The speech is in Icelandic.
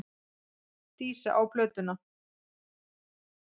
Dísa á plötuna.